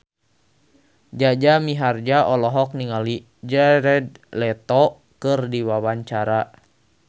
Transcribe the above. Jaja Mihardja olohok ningali Jared Leto keur diwawancara